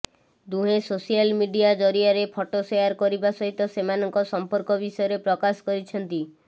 ଦୁହେଁ social media ଜରିଆରେ photo share କରିବା ସହିତ ସେମାନଙ୍କ ସମ୍ପର୍କ ବିଷୟରେ ପ୍ରକାଶ କରିଛନ୍ତି